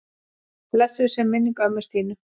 Blessuð sé minning ömmu Stínu.